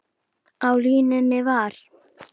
Á línunni var